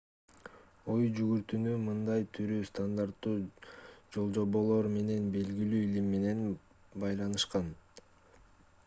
ой жүгүртүүнү мындай түрү стандарттуу жолжоболор же белгилүү илим менен байланышкан